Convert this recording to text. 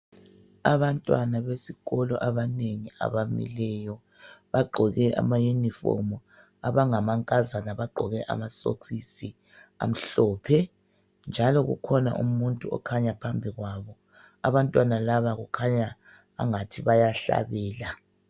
Abantwana besikolo abanengi abamileyo bagqoke amayunifomu abangama nkazana bagqoke amasokisi amhlophe njalo kukhona umuntu okhanya phambi kwabo , abantwana laba kukhanya angathi bayahlabela.